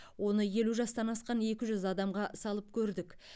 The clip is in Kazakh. оны елу жастан асқан екі жүз адамға салып көрдік